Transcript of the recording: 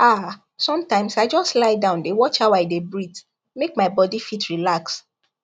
ah sometimes i just lie down dey watch how i dey breathe make my body fit relax